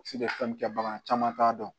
fɛn min kɛ bagan caman t'a dɔn